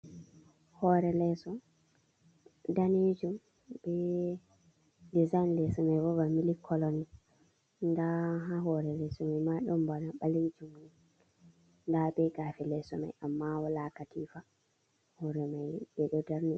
Hore leso danejum be dizyn leso mai bana mili kolony, nda ha hore leso mai ma ɗum bana ɓalejum nda be gafe leso mai amma walakatifa hore mai ɓeɗo darni.